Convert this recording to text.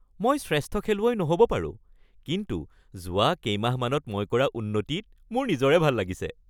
মই শ্ৰেষ্ঠ খেলুৱৈ নহ'ব পাৰো কিন্তু যোৱা কেইমাহমানত মই কৰা উন্নতিত মোৰ নিজৰে ভাল লাগিছে।